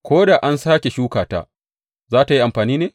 Ko da an sāke shuka ta, za tă yi amfani ne?